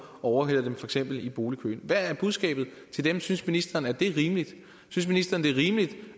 overhaler dem i boligkøen hvad er budskabet til dem synes ministeren at det er rimeligt synes ministeren det er rimeligt